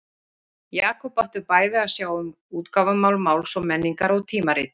Jakob átti bæði að sjá um útgáfumál Máls og menningar og tímaritið.